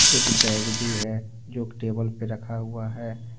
एक बैग भी है जो टेबल पे रखा हुआ है।